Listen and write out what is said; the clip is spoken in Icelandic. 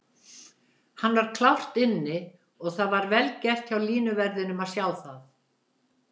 Hann var klárt inni og það var vel gert hjá línuverðinum að sjá það.